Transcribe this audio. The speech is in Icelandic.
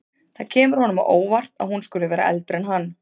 Það kemur honum á óvart að hún skuli vera eldri en hann.